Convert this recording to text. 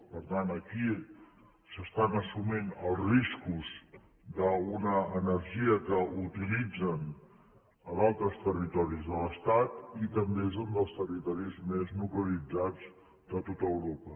per tant aquí s’estan assumint els riscos d’una energia que utilitzen a d’altres territoris de l’estat i també és un dels territoris més nuclearitzats de tot europa